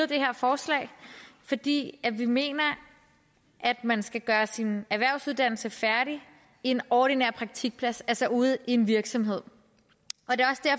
det her forslag fordi vi mener at man skal gøre sin erhvervsuddannelse færdig i en ordinær praktikplads altså ude i en virksomhed